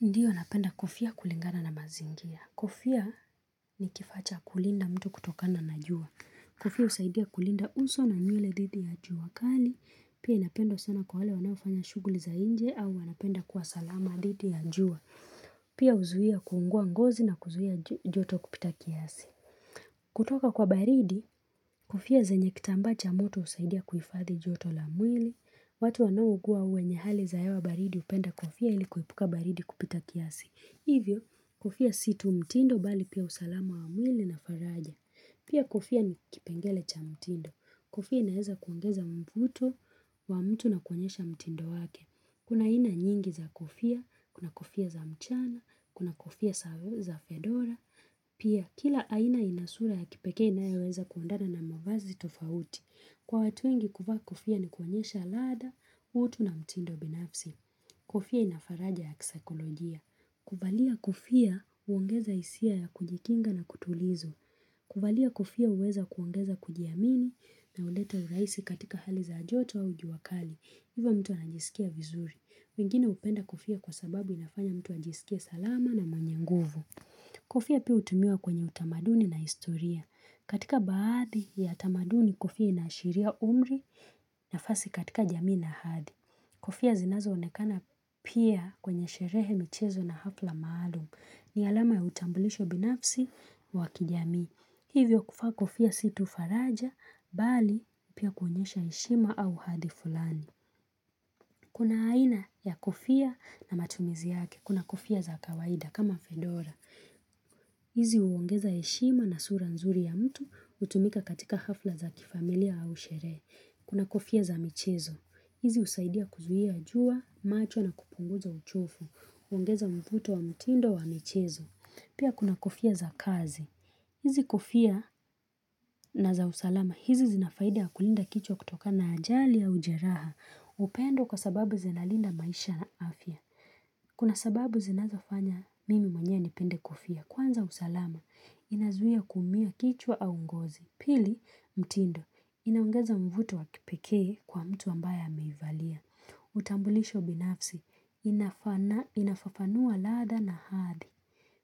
Ndiyo napenda kofia kulingana na mazingira. Kofia ni kifaa cha kulinda mtu kutokana na jua. Kofia husaidia kulinda uso na nywele dhidi ya jua kali. Pia inapendwa sana kwa wale wanaofanya shughuli za nje au wanapenda kuwa salama dhidi ya jua. Pia huzuia kuungua ngozi na kuzuia joto kupita kiasi. Kutoka kwa baridi, kofia zenye kitambaa cha moto husaidia kuhifadhi joto la mwili. Watu wanaougua wenye hali za hewa baridi hupenda kofia ili kuepuka baridi kupita kiasi. Hivyo, kofia si tu mtindo bali pia usalama wa mwili na faraja. Pia kofia ni kipengele cha mtindo. Kofia inaeza kuongeza mvuto wa mtu na kuonyesha mtindo wake. Kuna aina nyingi za kofia, kuna kofia za mchana, kuna kofia za fedora. Pia, kila aina ina sura ya kipeke inayoweza kuendana na mavazi tofauti. Kwa watu wengi kuvaa kofia ni kuonyesha ladha, utu na mtindo binafsi. Kofia ina faraja ya kisaikolojia. Kuvalia kofia huongeza hisia ya kujikinga na kutulizo. Kuvalia kofia huweza kuongeza kujiamini na huleta urahisi katika hali za joto au jua kali. Hivyo mtu anajisikia vizuri. Wengine hupenda kofia kwa sababu inafanya mtu anajisikia salama na mwenye nguvu. Kofia pia hutumiwa kwenye utamaduni na historia. Katika baadhi ya tamaduni kofia inaashiria umri nafasi katika jamii na hadi. Kofia zinazoonekana pia kwenye sherehe michezo na hafla maalum. Ni alama ya utambulisho binafsi wa kijamii. Hivyo kuvaa kofia si tu faraja, bali pia kuonyesha heshima au hadhi fulani. Kuna aina ya kofia na matumizi yake. Kuna kofia za kawaida kama fedora. Hizi huongeza heshima na sura nzuri ya mtu hutumika katika hafla za kifamilia au sherehe. Kuna kofia za michezo. Hizi husaidia kuzuia jua, macho na kupunguza uchovu. Huongeza mvuto wa mtindo wa michezo. Pia kuna kofia za kazi. Hizi kofia na za usalama. Hizi zinafaida kulinda kichwa kutoka na ajali ya ujeraha. Hupendwa kwa sababu zinalinda maisha na afya. Kuna sababu zinazofanya mimi mwenye nipende kofia. Kwanza usalama inazuia kuumia kichwa au ngozi. Pili mtindo inaongeza mvuto wa kipekee kwa mtu ambaye ameivalia. Utambulisho binafsi inafafanua ladha na hadhi.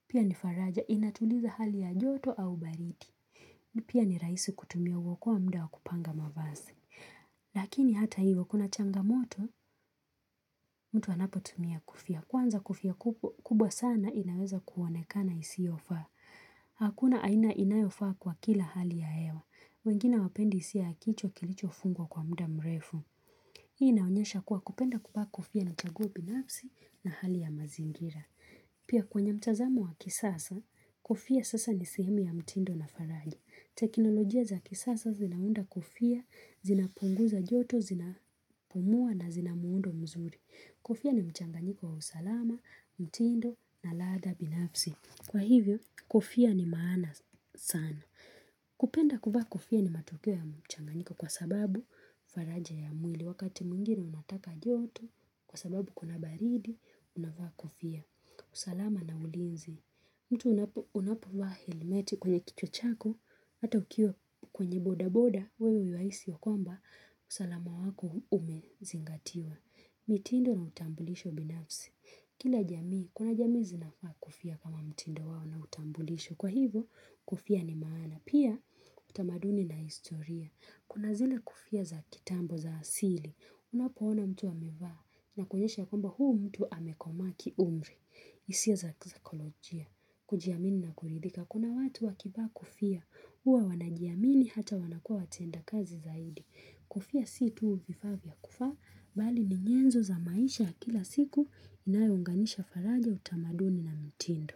Pia ni faraja inatuliza hali ya joto au baridi. Pia ni rahisi kutumia huokoa muda wa kupanga mavasi. Lakini hata hivyo kuna changamoto mtu anapotumia kofia Kwanza kofia kubwa sana inaweza kuonekana isiyofa Hakuna aina inayofa kwa kila hali ya hewa wengine hawapendi hisia ya kichwa kilichofungwa kwa muda mrefu Hii inaonyesha kuwa kupenda kuvaa kofia ni chaguo binafsi na hali ya mazingira Pia kwenye mtazaml wa kisasa, kofia sasa ni sehemu ya mtindo na faraja teknolojia za kisasa zinaunda kofia, zinapunguza joto, zina pumua na zina muundo mzuri Kofia ni mchanganyiko wa usalama, mtindo na ladha binafsi Kwa hivyo, kofia ni maana sana kupenda kuvaa kofia ni matokeo ya mchanganyiko kwa sababu faraja ya mwili Wakati mwingine unataka joto, kwa sababu kuna baridi, unavaa kofia usalama na ulinzi mtu unapovaa helmeti kwenye kichwa chako, hata ukiwa kwenye boda boda, wewe yuwahisi ya kwamba, usalama wako umezingatiwa. Mitindo na utambulisho binafsi. Kila jamii, kuna jamii zinavaa kofia kama mtindo wao na utambulisho. Kwa hivo, kofia ni maana. Pia, utamaduni na historia. Kuna zile kofia za kitambo za asili. Unapoona mtu amevaa. Ina kuonyesha ya kwamba huyu mtu amekoma kiumri. Hisia za kisaikolojia. Kujiamini na kuridhika. Kuna watu wakivaa kofia. Huwa wanajiamini hata wanakua watenda kazi zaidi. Kofia si tu vifaa vya kuvaa. Bali ni nyenzo za maisha ya kila siku inayounganisha faraja utamaduni na mtindo.